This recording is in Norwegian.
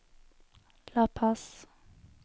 La Paz